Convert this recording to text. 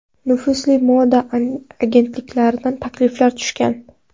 Nufuzli moda agentliklaridan takliflar tushgan.